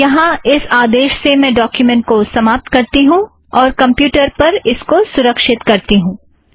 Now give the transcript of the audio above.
यहाँ इस आदेश से मैं डोक्युमेंट को समाप्त करती हूँ और कमप्युटर पर इसको सुरक्षित करती हूँ